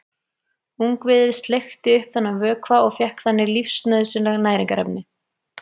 Ungviðið sleikti upp þennan vökva og fékk þannig lífsnauðsynleg næringarefni.